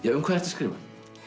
um hvað ertu að skrifa